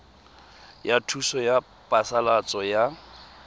ya thuso ya phasalatso ya